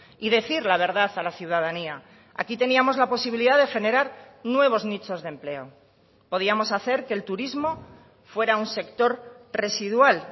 y decir la verdad a la ciudadanía aquí teníamos la posibilidad de generar nuevos nichos de empleo podíamos hacer que el turismo fuera un sector residual